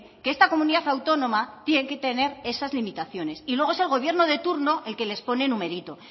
que esta comunidad autónoma tiene que tener esas limitaciones y luego es el gobierno de turno el que les pone numerito